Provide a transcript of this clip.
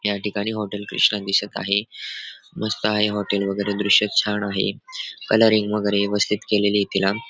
या ठिकाणी हॉटेल क्रिष्णा दिसत आहे. मस्त आहे हॉटेल वगेरे दृश्य छान आहे. कलरिंग वगैरे व्यवस्थित केलेलय तिला